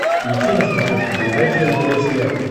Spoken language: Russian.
включи на смотрешке передачу нтв сериал